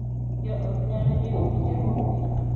Jo ot nyalo jiwo winjruokgi .